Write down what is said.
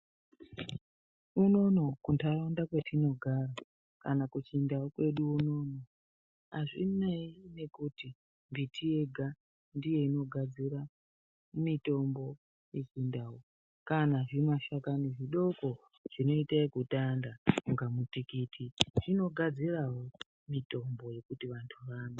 Unono kuntharaunda kwatinogara kana kuchindau kwedu unono azvinei nekuti mbiti yega ndiyo inogadzira mitombo yechindau kana zvimashakani zvidoko zvinoita ekutanda kunga mutikiti zvinogadzirao mitombo yekuti vanthu vamwe.